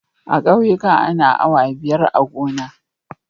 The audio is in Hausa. A ƙauyika ana awa biyar a gona.